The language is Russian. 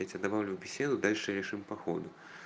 я тебя добавлю в беседу дальше решим по ходу